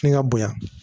Fini ka bonya